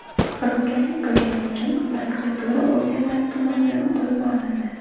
firibgarlik qilgani uchun prokuratura organlari tomonidan qo‘lga olindi.